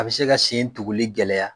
A bɛ se ka sen tuguli gɛlɛya